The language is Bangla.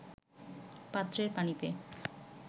পাত্রের পানিতে